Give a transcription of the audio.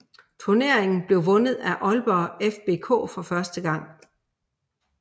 Turneringen blev vundet af Aalborg FBK for første gang